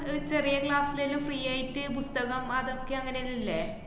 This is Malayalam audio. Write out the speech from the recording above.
ഒരു ചെറിയ class ല്ലേല്ലാം free ആയിട്ട് പുസ്തകം അതൊക്കെ അങ്ങനെ എല്ലേ